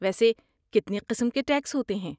ویسے کتنے قسم کے ٹیکس ہوتے ہیں؟